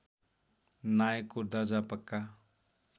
नायकको दर्जा पक्का